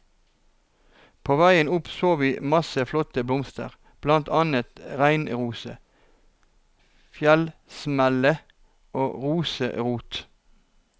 På veien opp så vi masse flotte blomster, blant annet reinrose, fjellsmelle og rosenrot.